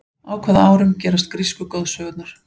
á hvaða árum gerast grísku goðsögurnar